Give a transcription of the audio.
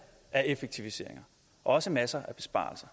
af effektiviseringer og også masser af besparelser